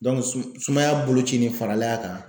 sum sumaya boloci nin farale a kan